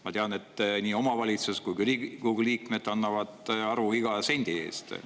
Ma tean, et nii omavalitsus kui ka Riigikogu liikmed annavad aru iga sendi kohta.